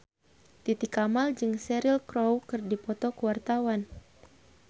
Titi Kamal jeung Cheryl Crow keur dipoto ku wartawan